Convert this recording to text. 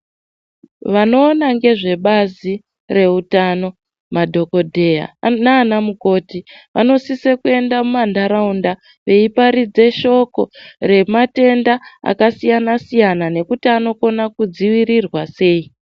Vanoona ngezvebazi rehutano madhokodheya nana mukoti vanosisa kuenda mumandaraunda veiparidza shoko rematenda akasiyana-siyana nekuti anokona kudzivirirwa sei.